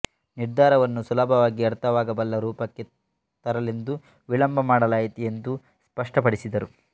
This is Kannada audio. ನಿರ್ಧಾರವನ್ನು ಸುಲಭವಾಗಿ ಅರ್ಥವಾಗಬಲ್ಲ ರೂಪಕ್ಕೆ ತರಲೆಂದು ವಿಳಂಬ ಮಾಡಲಾಯಿತು ಎಂದು ಸ್ಪಷ್ಟಪಡಿಸಿದರು